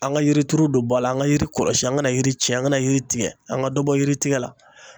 An ka yirituru don ba la, an ka yiri kɔlɔsi, an ka na yiri tiɲɛ ,an ka na yiri tigɛ an ka dɔ bɔ yiri tigɛ la.